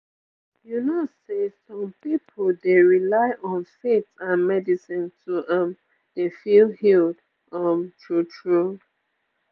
you know say some pipu dey rely on faith and medicine to um dey feel healed um true true